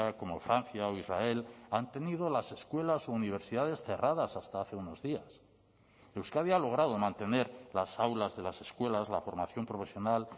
como francia o israel han tenido las escuelas o universidades cerradas hasta hace unos días euskadi ha logrado mantener las aulas de las escuelas la formación profesional